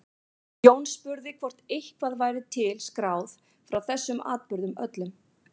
Jón spurði hvort eitthvað væri til skráð frá þessum atburðum öllum.